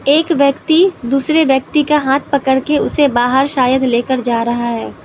एक व्यक्ति दूसरे व्यक्ति का हाथ पकड़ कर उसे बाहर शायद लेकर जा रहा है।